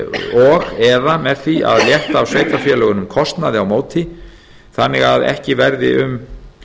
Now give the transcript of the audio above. og eða með því að létta af sveitarfélögunum kostnaði á móti þannig að ekki verði um